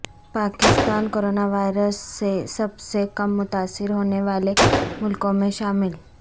پاکستا ن corona virus سے سب سے کم متاثر ہونے والے ملکوں میں شامل